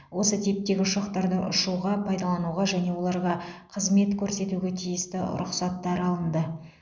осы типтегі ұшақтарды ұшуға пайдалануға және оларға қызмет көрсетуге тиісті рұқсаттар алынды